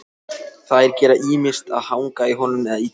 Þær gera ýmist að hanga í honum eða ýta áfram.